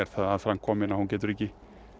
það aðframkomin að hún getur ekki